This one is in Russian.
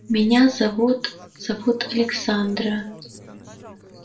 меня зовут зовут александра